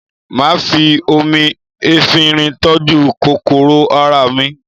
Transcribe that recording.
Máà fi omi efinrin tọ́jú kòkòrò ara rẹ